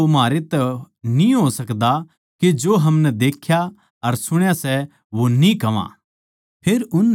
क्यूँके यो तो म्हारै तै न्ही हो सकदा के जो हमनै देख्या अर सुण्या सै वो न्ही कह्वां